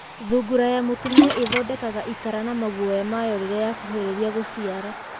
Thungura ya mũtumia ĩthondekaga itara na maguoya mayo rĩrĩa yakuhĩrĩria gũciara.